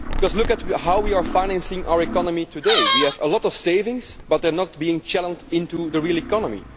Look at how we are financing our economy today we have a lot of savings, but they are not being channelled into the real economy